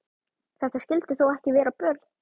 Þetta skyldi þó ekki vera björn?